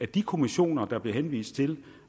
de kommissioner der bliver henvist til